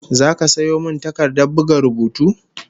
Zaka sayo min takardar buga rubutu?